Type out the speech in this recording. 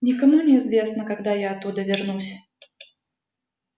никому не известно когда я оттуда вернусь